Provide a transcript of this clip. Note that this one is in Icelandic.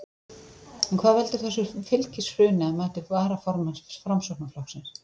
En hvað veldur þessu fylgishruni að mati varaformanns Framsóknarflokksins?